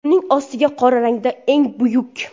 Uning ostiga qora rangda ‘Eng buyuk.